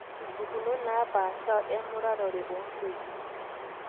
impukunot naapaasha emuratare oontoyie